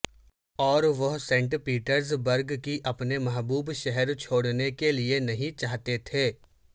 اور وہ Saint Petersburg کی اپنے محبوب شہر چھوڑنے کے لئے نہیں چاہتے تھے